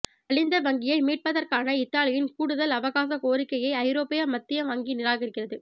நலிந்த வங்கியை மீட்பதற்கான இத்தாலியின் கூடுதல் அவகாச கோரிக்கையை ஐரோப்பிய மத்திய வங்கி நிராகரிக்கிறது